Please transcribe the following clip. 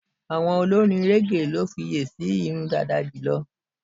Àwọm olorin régè ni wọ́n fiye si irun dàda jùlọ.